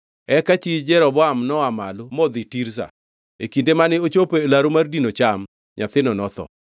Eka chi Jeroboam noa malo modhi Tirza. E kinde mane ochopo e laru mar dino cham, nyathino notho.